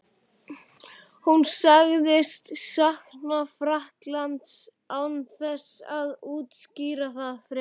Hann sagðist sakna Frakklands án þess að útskýra það frekar.